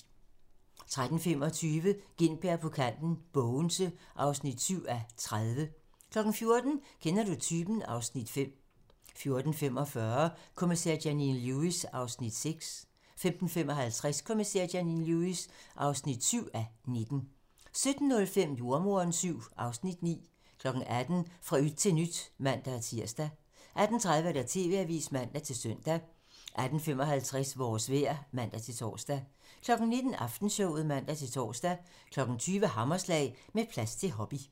13:25: Gintberg på kanten - Bogense (7:30) 14:00: Kender du typen? (Afs. 5) 14:45: Kommissær Janine Lewis (6:19) 15:55: Kommissær Janine Lewis (7:19) 17:05: Jordemoderen VII (Afs. 9) 18:00: Fra yt til nyt (man-tir) 18:30: TV-avisen (man-søn) 18:55: Vores vejr (man-tor) 19:00: Aftenshowet (man-tor) 20:00: Hammerslag - Med plads til hobby